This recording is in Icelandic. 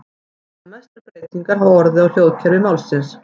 Einna mestar breytingar hafa orðið á hljóðkerfi málsins.